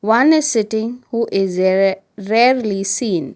One is sitting who is rere rarely seen.